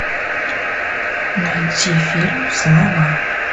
найди фильм слова